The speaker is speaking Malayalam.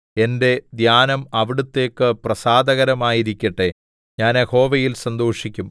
എന്റെ ധ്യാനം അവിടുത്തേയ്ക്ക് പ്രസാദകരമായിരിക്കട്ടെ ഞാൻ യഹോവയിൽ സന്തോഷിക്കും